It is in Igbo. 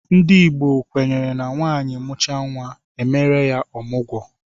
Ndị Igbo kwenyere na nwaanyị mụchaa nwa, e meere ya ọmụgwọ.